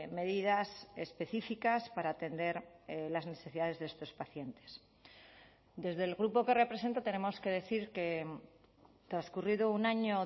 medidas específicas para atender las necesidades de estos pacientes desde el grupo que represento tenemos que decir que transcurrido un año